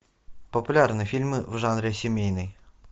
популярные фильмы в жанре семейный